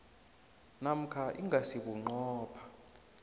namkha ingasi bunqopha